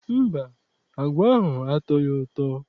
Mba, agwa ahụ atọghị ụtọ.